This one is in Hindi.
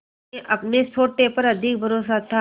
उन्हें अपने सोटे पर अधिक भरोसा था